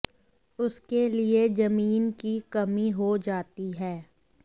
उसके लिए जमीन की कमी हो जाती है